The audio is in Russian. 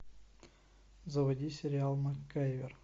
заводи сериал макгайвер